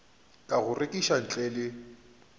ka go rekiša ntle le